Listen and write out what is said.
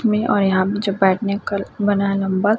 में और यहां पे जो बैठने का बना है नम्बर --